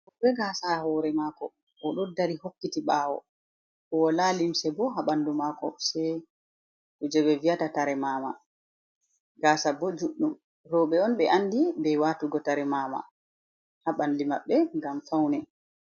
Ebe gasa hore mako oɗo dari hokkiti ɓawo, bo wala limse bo ha ɓandu mako, se kuje be vi'ata tare mama gasa bo juɗɗum, roɓe on be andi be watugo tare mama ha bandu maɓɓe ngam faune.